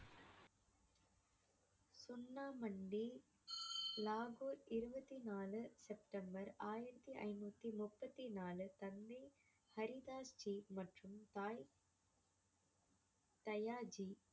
சுன்னா மண்டி லாகூர் இருபத்தி நாலு செப்டெம்பர் ஆயிரத்தி ஐநூத்தி முப்பத்தி நாலு தந்தை ஹரிதாஸ் ஜி மற்றும் தாய் தயாஜி